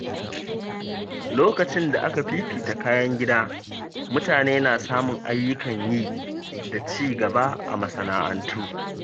Lokacin da aka fifita kayan gida, mutane na samun ayyukan yi da ci gaba a masana’antu.